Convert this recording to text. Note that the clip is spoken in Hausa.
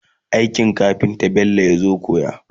aikin kafinta Bello yazo koya